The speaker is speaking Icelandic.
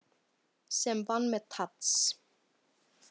Sem vann með Tadas.